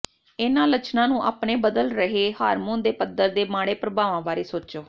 ਇਹਨਾਂ ਲੱਛਣਾਂ ਨੂੰ ਆਪਣੇ ਬਦਲ ਰਹੇ ਹਾਰਮੋਨ ਦੇ ਪੱਧਰ ਦੇ ਮਾੜੇ ਪ੍ਰਭਾਵਾਂ ਬਾਰੇ ਸੋਚੋ